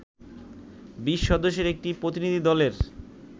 ২০ সদস্যের একটি প্রতিনিধি দলের